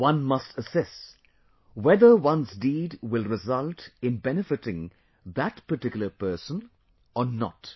One must assess whether one's deed will result in benefitting that particular person or not